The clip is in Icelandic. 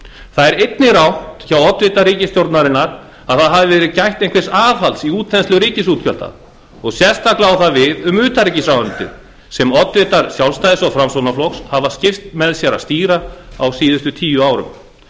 það er eigin rangt hjá oddvita ríkisstjórnarinnar að það hafi verið gætt einhvers aðhalds í útþenslu ríkisútgjalda og sérstaklega á það við um utanríkisráðuneytið sem oddvitar sjálfstæðis og framsóknarflokks hafa skipt með sér að stýra á síðustu tíu árum